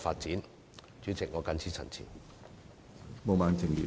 主席，本人謹此陳辭。